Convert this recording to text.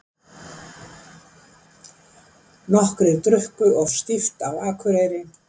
Nokkrir drukku of stíft á Akureyri